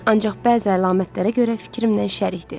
Ancaq bəzi əlamətlərə görə fikrimlə şərikdir.